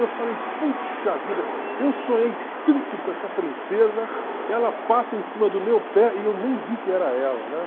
Eu falei, puxa vida, eu sonhei tanto com essa princesa, ela passa em cima do meu pé e eu nem vi que era ela, né?